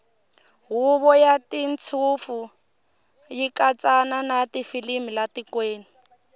hhuvo yatashintfu yikatsa natifilimu latikweni